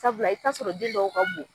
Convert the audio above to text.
Sabula i bi taa'a sɔrɔ den dɔw ka bon